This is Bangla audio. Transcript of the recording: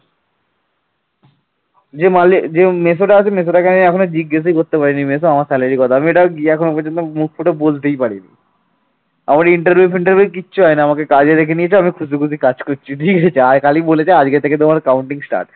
আমার interview ফিন্টারভিউ কিচ্ছু হয়নি আমাকে কাজে ডেকে নিয়েছে আমি খুশি খুশি কাজ করছি। দিয়ে গেছে আর খালি বলেছে আজকে থেকে তোমার counting start